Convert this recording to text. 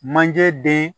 Manje den